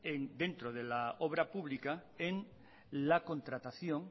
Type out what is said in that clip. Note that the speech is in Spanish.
dentro de la obra pública en la contratación